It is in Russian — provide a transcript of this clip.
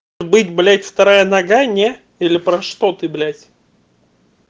быть блять вторая нога не или про что ты блять